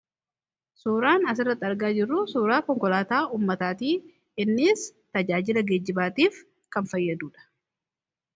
Suuraan asirrati argaa jirru suuraa konkolaataa ummataati. Innis tajaajila geejibaatiif kan fayyaduudha.